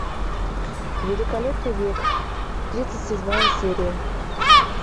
великолепный век тридцать седьмая серия